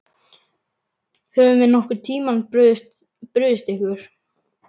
Höfum við nokkurn tímann brugðist ykkur?